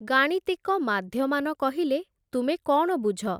ଗାଣିତିକ ମାଧ୍ୟମାନ କହିଲେ ତୁମେ କ'ଣ ବୁଝ?